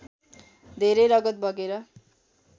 धेरै रगत बगेर